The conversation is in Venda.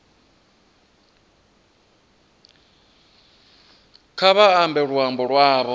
kha vha ambe luambo lwavho